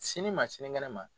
Sini ma sinikɛnɛ ma.